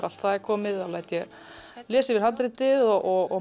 allt er komið læt ég lesa yfir handritið og